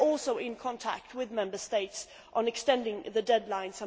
We are also in contact with Member States on extending the deadline.